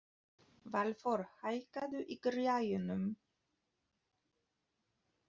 Valþór, hækkaðu í græjunum.